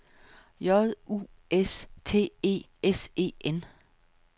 J U S T E S E N